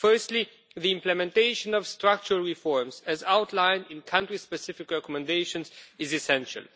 Firstly, the implementation of structural reforms, as outlined in the country-specific recommendations, is essential.